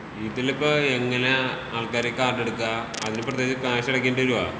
ഇതില്പ്പോ എങ്ങനെയാ ആൾക്കാര് കാർഡ് എടുക്കാ? അതിന് പ്രത്യേകിച്ച് ക്യാഷ് അടക്കേണ്ടി വരോ?